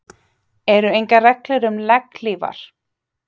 Eru engar reglur um legghlífar?